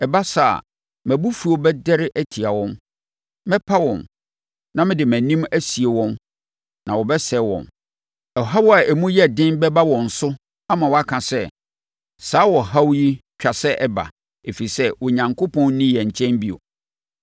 Ɛba saa a, mʼabufuo bɛdɛre atia wɔn. Mɛpa wɔn, na mede mʼanim asie wɔn na wɔbɛsɛe wɔn. Ɔhaw a emu yɛ den bɛba wɔn so ama wɔaka sɛ, ‘Saa ɔhaw yi twa sɛ ɛba, ɛfiri sɛ, Onyankopɔn nni yɛn nkyɛn bio.’